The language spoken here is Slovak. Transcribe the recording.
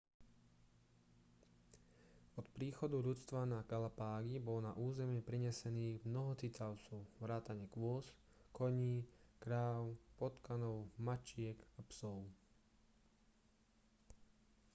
od príchodu ľudstva na galapágy bolo na územie prinesených mnoho cicavcov vrátane kôz koní kráv potkanov mačiek a psov